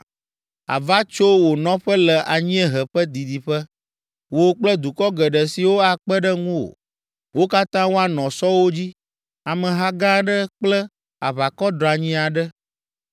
Àva tso wò nɔƒe le anyiehe ƒe didiƒe, wò kple dukɔ geɖe siwo akpe ɖe ŋuwò, wo katã woanɔ sɔwo dzi, ameha gã aɖe kple aʋakɔ dranyi aɖe.